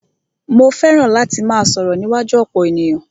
Mó fẹràn láti máà sọ̀rọ̀ níwájú ọ̀pọ̀ ènìyàn.